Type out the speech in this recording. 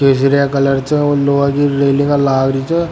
हरा कलर छे और लोहा रेलिंग लागरी छे।